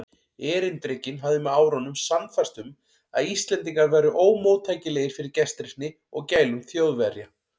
Erindrekinn hafði með árunum sannfærst um, að Íslendingar væru ómóttækilegir fyrir gestrisni og gælum Þjóðverja.